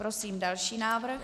Prosím další návrh.